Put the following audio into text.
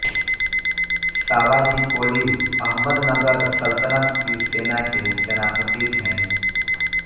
सावाजी कोली अहमदनगर सल्तनत की सेना के सेनापति थे